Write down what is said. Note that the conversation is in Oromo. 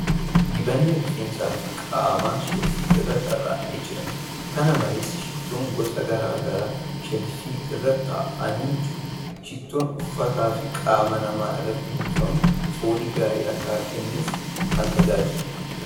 Dibanni rifeensa fi qaamaa sheelfii irra tarraa'ee jira. kana malees, shittoon gosa gara garaa sheelfii irra taa'anii jiru. Shittoon uffataa fi qaama namaa irratti biifamuun foolii gaarii akka kennuuf kan tajaajiluudha.